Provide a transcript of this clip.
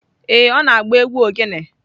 Ee, ọ na-agba egwu ogene.